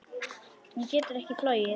Hún getur ekki flogið.